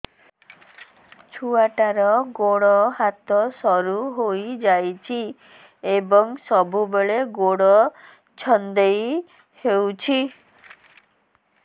ଛୁଆଟାର ଗୋଡ଼ ହାତ ସରୁ ହୋଇଯାଇଛି ଏବଂ ସବୁବେଳେ ଗୋଡ଼ ଛଂଦେଇ ହେଉଛି